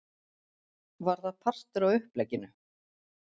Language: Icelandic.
Var það partur af upplegginu?